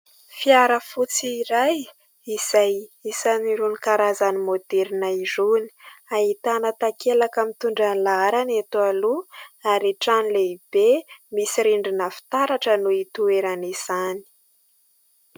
Fiara fotsy iray izay isany irony karazany moderna irony, ahitana takelaka mitondra ny laharany eto aloha ary trano lehibe misy rindrina fitaratra no hitoeran'izany.